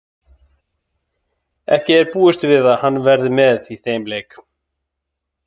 Ekki er búist við að hann verði með í þeim leik.